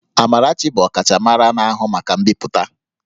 Amarachi bụ ọkachamara na-ahụ maka mbipụta